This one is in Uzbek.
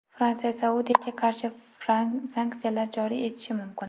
Fransiya Saudiyaga qarshi sanksiyalar joriy etishi mumkin.